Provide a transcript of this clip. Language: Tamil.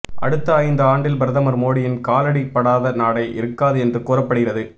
அடுத்த ஐந்து ஆண்டில் பிரதமர் மோடியின் காலடி படாத நாடே இருக்காது என்று கூறப்படுகிறது